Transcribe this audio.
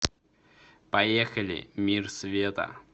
поехали мир света